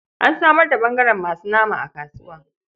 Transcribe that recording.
An samar da ɓangaren masu nama a kasuwa.